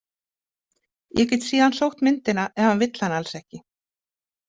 Ég get síðan sótt myndina ef hann vill hana alls ekki.